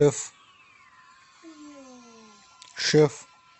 шеф